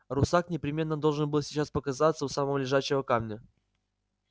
русак непременно должен был сейчас показаться у самого лежачего камня